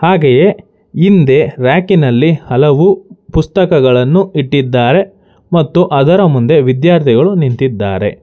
ಹಾಗೆಯೇ ಹಿಂದೆ ರ್ಯಾಕಿ ನಲ್ಲಿ ಹಲವು ಪುಸ್ತಕಗಳನ್ನು ಇಟ್ಟಿದ್ದಾರೆ ಮತ್ತು ವಿದ್ಯಾರ್ಥಿಗಳು ನಿಂತಿದ್ದಾರೆ.